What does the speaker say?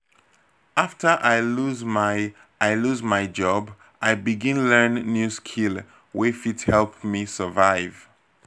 after i lose my i lose my job i begin learn new skill wey fit help me survive.